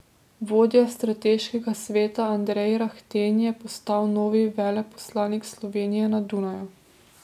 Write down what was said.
Vodja strateškega sveta Andrej Rahten je postal novi veleposlanik Slovenije na Dunaju.